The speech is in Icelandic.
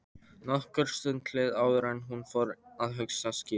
Nokkur stund leið áður en hún fór að hugsa skýrt.